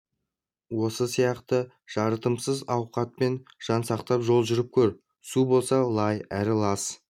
осы сияқты жарытымсыз ауқатпен жан сақтап жол жүріп көр су болса лай әрі лас